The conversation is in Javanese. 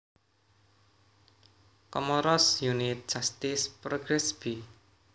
Komoros Unité Justice Progrès b